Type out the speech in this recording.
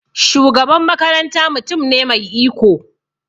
Shugaban makaranta mutum ne mai iko.